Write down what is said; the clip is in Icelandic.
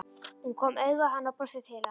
Hún kom auga á hann og brosti til hans.